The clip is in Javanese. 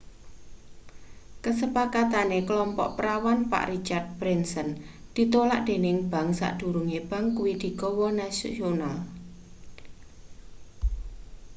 kasepakatane klompok prawan pak richard branson ditolak dening bank sadurunge bank kuwi digawe nasional